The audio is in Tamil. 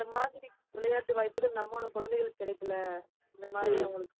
அந்த மாதிரி விளையாட்டு வாய்ப்புகள், நம்மளோட குழந்தைகளுக்கு கிடைக்கல இந்த மாதிரி